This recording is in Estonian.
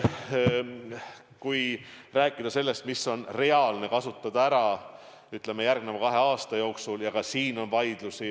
Kui rääkida sellest, mis on reaalne ära kasutada, ütleme, järgmise kahe aasta jooksul, siis ka selle üle on vaieldud.